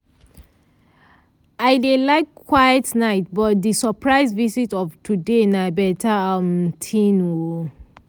i dey like quiet nights but di surprise visit of today na beta um thing. um